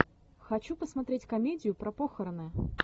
хочу посмотреть комедию про похороны